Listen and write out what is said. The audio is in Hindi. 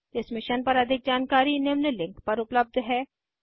इस मिशन पर अधिक जानकारी निम्न लिंक पर उपलब्ध है